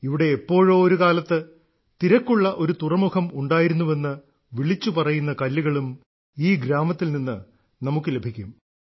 ഇവിടെ എപ്പോഴോ ഒരുകാലത്ത് തിരക്കുള്ള ഒരു തുറമുഖം ഉണ്ടായിരുന്നുവെന്ന് വിളിച്ചു പറയുന്ന കല്ലുകളും ഈ ഗ്രാമത്തിൽ നിന്ന് നമുക്ക് ലഭിക്കും